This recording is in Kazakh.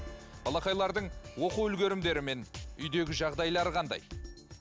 балақайлардың оқу үлгерімдері мен үйдегі жағдайлары қандай